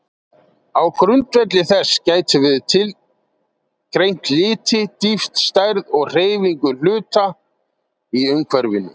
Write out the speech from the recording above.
Á grundvelli þess getum við greint liti, dýpt, stærð og hreyfingu hluta í umhverfinu.